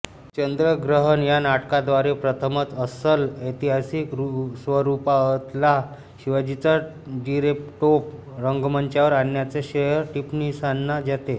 चंद्रग्रहण या नाटकाद्वारे प्रथमच अस्सल ऐतिहासिक स्वरूपातला शिवाजीचा जिरेटोप रंगमंचावर आणण्याचे श्रेय टिपणिसांना जाते